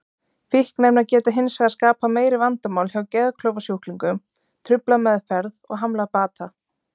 Fíkniefni geta hins vegar skapað meiri vandamál hjá geðklofasjúklingum, truflað meðferð og hamlað bata.